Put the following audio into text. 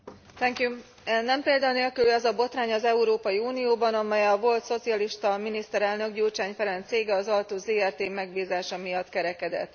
Elnök Asszony, nem példa nélküli ez a botrány az Európai Unióban, amely a volt szocialista miniszterelnök, Gyurcsány Ferenc cége, az Altus Zrt. megbízása miatt kerekedett.